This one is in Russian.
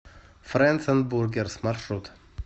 фрэндс энд бургерс маршрут